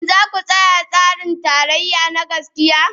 Shin za ku tsaya kan tsarin tarayya na gaskiya?